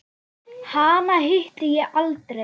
Hana hitti ég aldrei.